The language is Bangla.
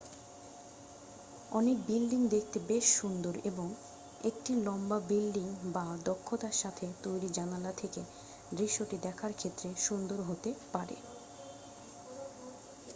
অনেক বিল্ডিং দেখতে বেশ সুন্দর এবং একটি লম্বা বিল্ডিং বা দক্ষতার সাথে তৈরি জানালা থেকে দৃশ্যটি দেখার ক্ষেত্রে সুন্দর হতে পারে